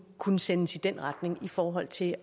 kunne sendes i den retning i forhold til